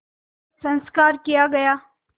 संस्कार किया गया